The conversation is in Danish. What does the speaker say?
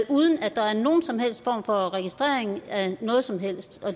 uden at der er nogen som helst form for registrering af noget som helst